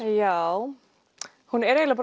já hún er eiginlega